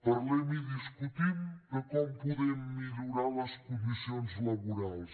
parlem i discutim de com podem millorar les condicions laborals